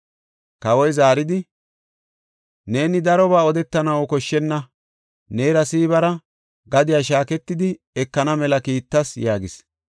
Kawoy zaaridi, “Neeni darobaa odetanaw koshshenna. Neera Siibara gadiya shaaketidi ekana mela kiittas” yaagis.